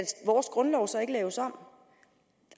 vores grundlov så ikke laves om